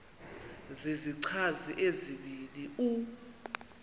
zizichazi ezibini u